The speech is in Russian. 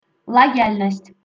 лояльность